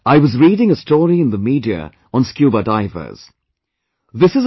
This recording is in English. Just the other day, I was reading a story in the media on scuba divers